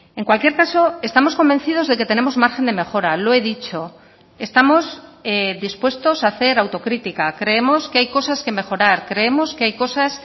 en cualquier caso estamos convencidos de que tenemos margen de mejora lo he dicho estamos dispuestos a hacer autocritica creemos que hay cosas que mejorar creemos que hay cosas